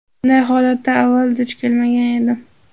Bunday holatga avval duch kelmagan edim.